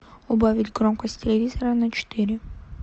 убавить громкость телевизора на четыре